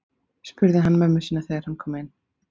spurði hann mömmu sína þegar hann kom inn.